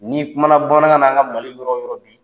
N'i kumana bamanankan na an ŋa Mali yɔrɔ yɔrɔ bi